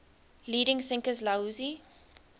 leading thinkers laozi